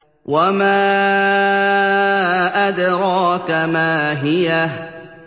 وَمَا أَدْرَاكَ مَا هِيَهْ